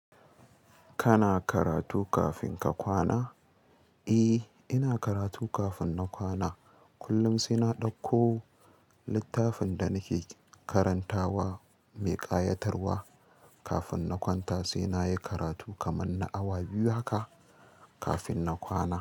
Kana karatu kafin ka kwana? Eh, ina karatu kafin na kwana. Kullum sai na ɗauko littafin da nake karantawa mai ƙayatarwa. Kafin na kwanta sai nayi karatu kaman na awa biyu haka kafin na kwana.